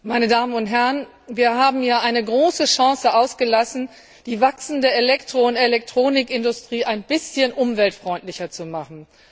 Meine Damen und Herren, wir haben hier eine große Chance ausgelassen, die wachsende Elektro und Elektronikindustrie ein bisschen umweltfreundlicher zu machen.